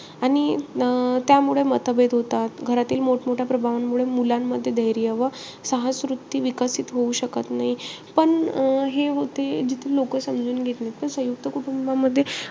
आणि अं त्यामुळे मतभेद होतात. घरातील मोठ-मोठ्या प्रभावांमुळे मुलांमध्ये धैर्य व साहस वृत्ती विकसित होऊ शकत नाही. पण अं हे ते जिथं लोक समजून घेत नाई. त सयुंक्त कुटुंबामध्ये,